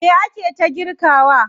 Me ake ta girkawa?